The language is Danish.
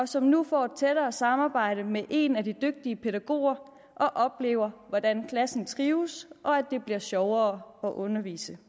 som nu får et tættere samarbejde med en af de dygtige pædagoger og oplever hvordan klassen trives og at det bliver sjovere at undervise